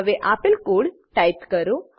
હવે આપેલ code type કરો